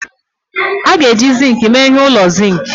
A ga-eji zinc mee ihe n'ụlọ zinc